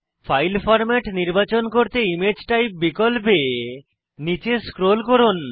file format নির্বাচন করতে image type বিকল্পে নীচে স্ক্রোল করুন